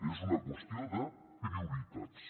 és una qüestió de prioritats